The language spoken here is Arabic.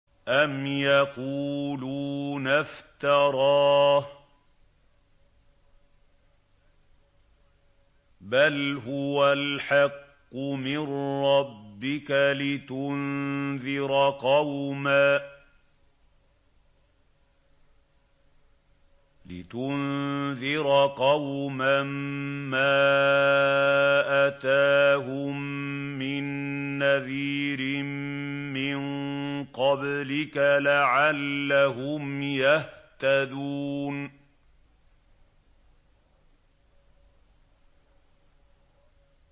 أَمْ يَقُولُونَ افْتَرَاهُ ۚ بَلْ هُوَ الْحَقُّ مِن رَّبِّكَ لِتُنذِرَ قَوْمًا مَّا أَتَاهُم مِّن نَّذِيرٍ مِّن قَبْلِكَ لَعَلَّهُمْ يَهْتَدُونَ